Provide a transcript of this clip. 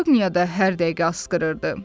Hersoqniya da hər dəqiqə asqırırdı.